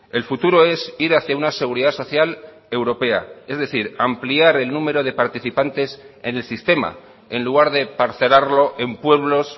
el futuro es ir hacía una seguridad social europea es decir ampliar el número de participantes en el sistema en lugar de parcelarlo en pueblos